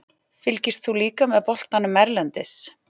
Fylgist þú líka með boltanum erlendis?